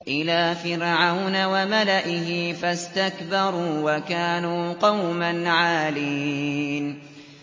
إِلَىٰ فِرْعَوْنَ وَمَلَئِهِ فَاسْتَكْبَرُوا وَكَانُوا قَوْمًا عَالِينَ